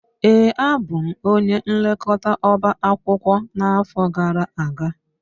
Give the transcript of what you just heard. Ee, abụ m onye nlekọta ọbá akwụkwọ n'afọ gara aga